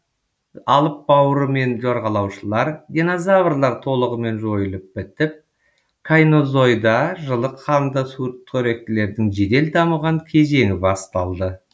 алып бауырымен жорғалаушылар динозаврлар толығымен жойылып бітіп кайнозойда жылы қанды сүтқоректілердің жедел дамыған кезеңі басталды